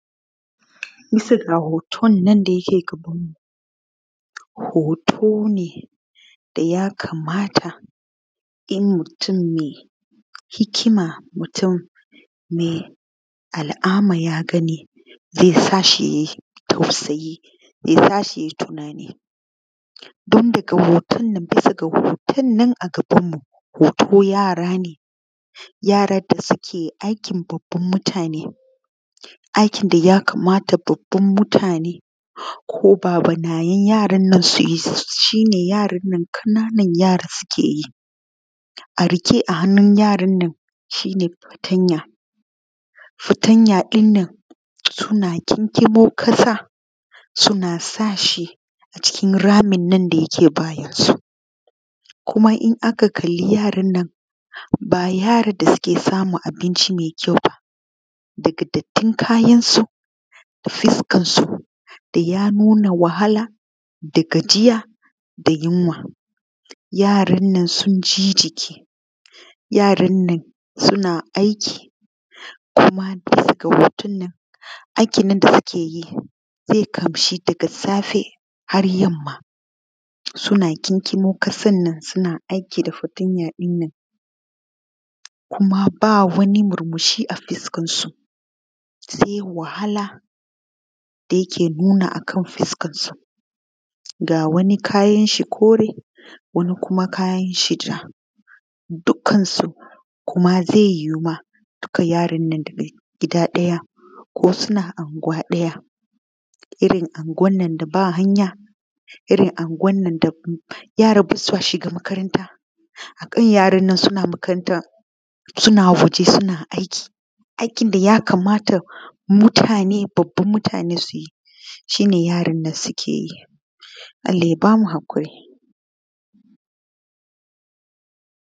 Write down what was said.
Bisa ga hoton nan da yake gabanmu hoto ne da ya kamata in mutun mai hikima, mai al’ama ya gani zai sa shi ya yi tausayi ya tashi ya yi tunani ga hoton nan a gabnamu, yara ne da suke aikin babban mutane aikin da ya kama babban mutane ko babunayen yarannan su yi shi ne ƙananan yaran nan suke yi. A riƙe a hannun yarannan shi ne fatanya, fatanya ɗin nan suna gingimo ƙasa suna sa shi cikin ramin nan da yake bayansu kuma in aka kalla yaran nan ba yaran da suke samun abinci me kyau ba ne daga dattin kayansu da fiskansu da ya nuna gajiya, wahala da yunwa, yaran nan sun ji jiki, yaran nan suna aiki daga hoton nan aikinan da suke yi zai ɗauki daga safe har yamma suna kinkimo ƙasan nan suna aiki da fatanya ɗin nan kuma ba wani murmushi a fuskansu se wahala da yake nuna akan fuskansu. Ga wani kayan shi kore wani kayan shi ja dukansu ba zai yowu ba daga gida ɗaya ko suna anguwa ɗaya, irin anguwan nan da ba hanya, irin anguwan da yaransu ba sa shiga makaranta, irin yarannan suna makaranta suna waje, suna aiki, aikin da ya kamata mutane babbuna su yi shi ne yarannan suke yi Allah ba mu haƙuri.